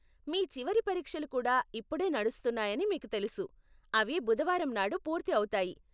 మీ చివరి పరీక్షలు కూడా ఇప్పుడే నడుస్తున్నాయని మీకు తెలుసు, అవి బుధవారం నాడు పూర్తి అవుతాయి.